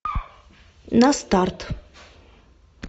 на старт